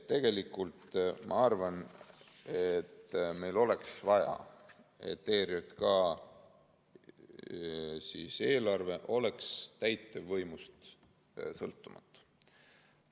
Ma arvan, et meil oleks vaja, et ERJK eelarve oleks täitevvõimust sõltumatu.